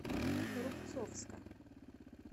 рубцовска